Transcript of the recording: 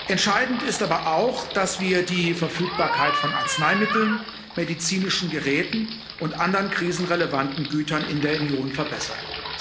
Entscheidend ist aber auch, dass wir die Verfügbarkeit von Arzneimitteln, medizinischen Geräten und anderen krisenrelevanten Gütern in der Union verbessern.